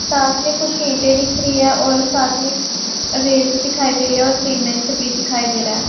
साथ में कुछ ईंटें दिख रही है और साथ में रेत दिखाई दे रही है और सीमेंट भी दिखाई दे रहा है।